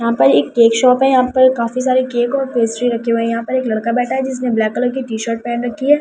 यहां पर एक केक शॉप है यहां पर काफी सारे केक और पेस्ट्री रखे हुए हैं यहां पर एक लड़का बैठा है जिसने ब्लैक कलर की टीशर्ट पहन रखी है।